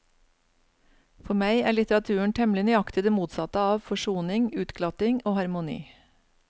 For meg er litteraturen temmelig nøyaktig det motsatte av forsoning, utglatting og harmoni.